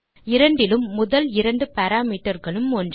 இரண்டிலும் முதல் இரண்டு பாராமீட்டர் களும் ஒன்றே